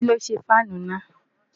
kí́ ló ṣe fáànù náà?